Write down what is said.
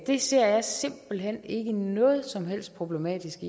det ser jeg simpelt hen ikke noget som helst problematisk